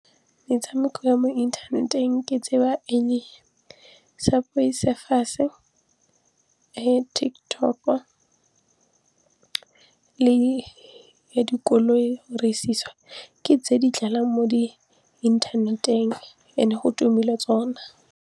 Metshameko ya mo inthaneteng ke e le Subway Surfers le TikTok le ya dikoloi ke tse di mo di-internet-eng and-e go tumile tsona.